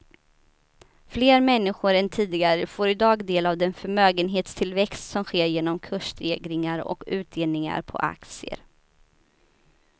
Fler människor än tidigare får i dag del av den förmögenhetstillväxt som sker genom kursstegringar och utdelningar på aktier.